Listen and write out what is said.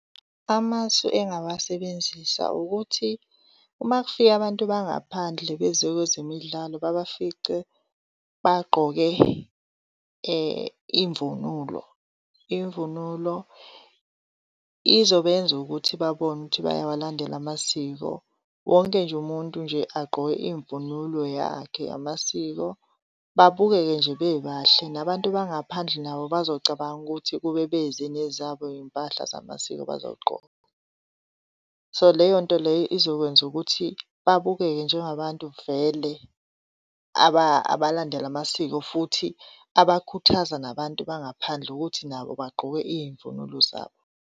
Amasu engingawasebenzisa ukuthi uma kufika abantu bangaphandle beze kwezemidlalo babafice bagqoke, imvunulo. Imvunulo izobenza ukuthi babone ukuthi bayawalandela amasiko. Wonke nje umuntu nje agqoke imvunulo yakhe yamasiko babukeke nje bebahle, nabantu bangaphandle nabo bazocabanga ukuthi ukube beze nezabo iy'mpahla zamasiko bazowugqoka. So, leyo nto leyo izokwenza ukuthi babukeke njengabantu vele abalandela amasiko, futhi abakhuthaza nabantu bangaphandle ukuthi nabo bagqoke iy'mvunulo zabo.